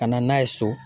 Ka na n'a ye so